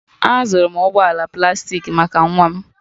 Azụrụ m ụgbọ ala plastik maka nwa m